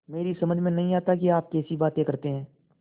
मेरी समझ में नहीं आता कि आप कैसी बातें करते हैं